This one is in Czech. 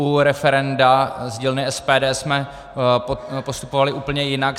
U referenda z dílny SPD jsme postupovali úplně jinak.